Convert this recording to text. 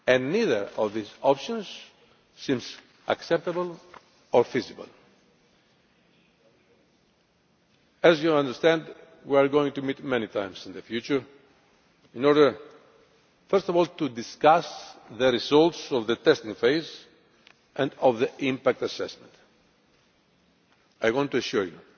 Neither of these options seems acceptable or feasible. As you understand, we are going to meet many times in the future in order, first of all, to discuss the results of the testing phase and the impact assessment. I want to assure you